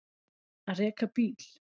Að reka bíl